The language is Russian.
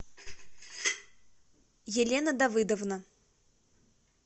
елена давыдовна